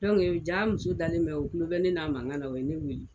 Dɔnku , jaa muso dalen bɛ, o tulo bɛ ne n'a mankan la, o ye ne weele.